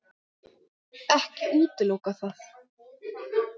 Ekki útiloka það.